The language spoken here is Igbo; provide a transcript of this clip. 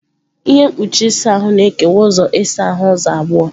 Ihe mkpuchi ịsa ahụ na-ekewa ụlọ ịsa ahụ ụzọ abụọ.